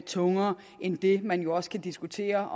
tungere end det man jo også kan diskutere